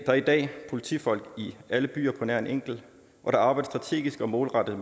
er i dag politifolk i alle byer på nær en enkelt og der arbejdes strategisk og målrettet